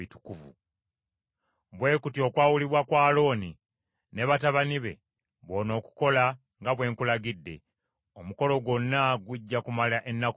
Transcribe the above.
“Bwe kutyo okwawulibwa kwa Alooni ne batabani be bw’onookukola nga bwe nkulagidde. Omukolo gwonna gujja kumala ennaku musanvu;